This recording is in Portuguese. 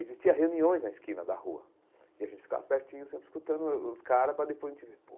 Existia reuniões na esquina da rua e a gente ficava pertinho sempre escutando o os caras para depois a gente.